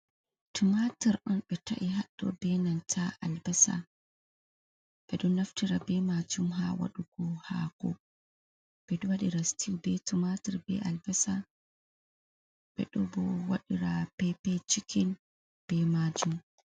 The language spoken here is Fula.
Tumaatur on ɓe ta' i haɗɗo bee nanta albasa, ɓe ɗon naftira bee maajum haa waɗugo haako ɓe ɗo waɗira sitiwtl bee tumaatur bee albasa nden boo ɓe ɗo waɗira peepee cikin bee maajum.